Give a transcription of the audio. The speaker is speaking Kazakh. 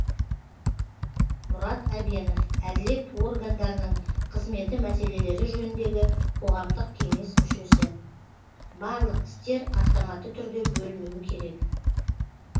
мұрат әбенов әділет органдарының қызметі мәселелері жөніндегі қоғамдық кеңес мүшесі барлық істер автоматты түрде бөлінуі керек